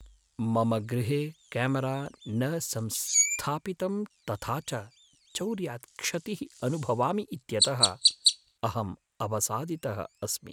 मम गृहे केमरा न संस्थापितं तथा च चोर्यात् क्षतिः अनुभवामि इत्यतः अहम् अवसादितः अस्मि।